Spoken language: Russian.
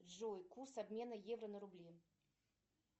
джой курс обмена евро на рубли